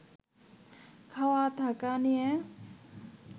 খাওয়া-থাকা দিয়ে